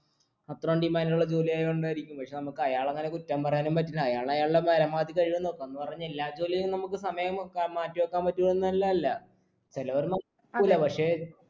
അത്രോം demand ഉള്ള ജോലി ആയോണ്ടായിരിക്കും പക്ഷെ നമ്മക്ക് അയാളെ അങ്ങനെ കുറ്റം പറയാനും പറ്റില്ല അയാൾ അയാളുടെ പരമാവധി കയ്യോ നോക്ക് എന്ന് പറഞ്ഞ് എല്ലാ ജോലിയിലും നമുക്ക് സമയം അഹ് മാറ്റിവെക്കാൻ പറ്റും എന്നല്ലല്ല ചിലവർ നിക്കൂല്ല പക്ഷേ